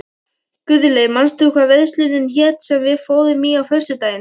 Guðlaug, manstu hvað verslunin hét sem við fórum í á föstudaginn?